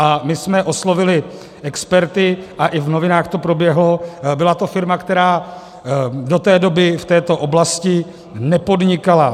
A my jsme oslovili experty a i v novinách to proběhlo, byla to firma, která do té doby v této oblasti nepodnikala.